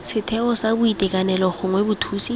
setheo sa boitekanelo gongwe bothusi